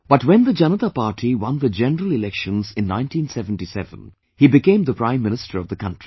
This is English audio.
But when the Janata Party won the general elections in 1977, he became the Prime Minister of the country